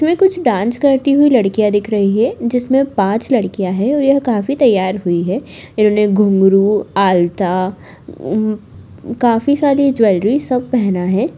यहाँ कुछ डांस करती हुई लड़कियाँ दिख रही है जिसमें पाँच लड़कियाँ हैं और यह काफी तैयार हुई है इन्होने घुंगरू आलता उम काफी सारी ज्वेलरी सब पहना है।